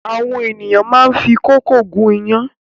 Àwọn ènìyàn máá ń fi kókò gún iyán